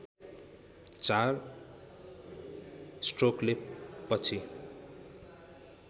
चार स्ट्रोकले पछि